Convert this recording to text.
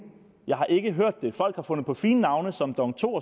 jeg har ikke hørt det folk har fundet på fine navne som dong to